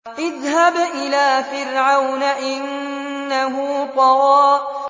اذْهَبْ إِلَىٰ فِرْعَوْنَ إِنَّهُ طَغَىٰ